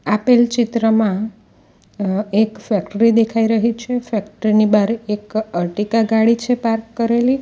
આપેલ ચિત્રમાં અ એક ફેક્ટરી દેખાઈ રહી છે ફેક્ટરી ની બારે એક અરટીકા ગાડી છે પાર્ક કરેલી.